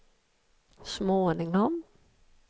småningom